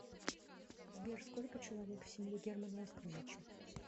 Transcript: сбер сколько человек в семье германа оскаровича